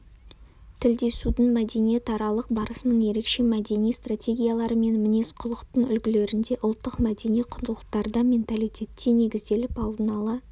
тілдесудің мәдениетаралық барысының ерекше мәдени стратегиялары мен мінез-құлықтың үлгілерінде ұлттық-мәдени құндылықтарда менталитетте негізделіп алдын ала